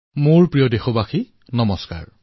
মোৰ মৰমৰ দেশবাসী সকল নমস্কাৰ